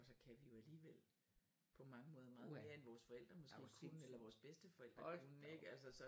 Og så kan vi jo alligevel på mange måder meget mere end vores forældre måske kunne eller vores bedsteforældre kunne ik altså så